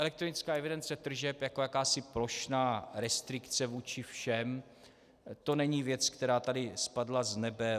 Elektronická evidence tržeb jako jakási plošná restrikce vůči všem, to není věc, která tady spadla z nebe.